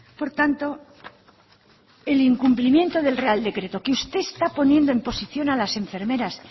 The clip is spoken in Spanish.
por tanto el incumplimiento del real decreto que usted está poniendo en posición a las enfermeras